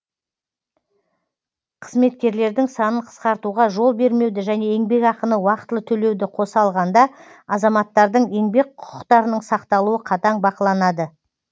қызметкерлердің санын қысқартуға жол бермеуді және еңбекақыны уақытылы төлеуді қоса алғанда азаматтардың еңбек құқықтарының сақталуы қатаң бақыланады